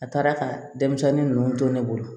A taara ka denmisɛnnin ninnu to ne bolo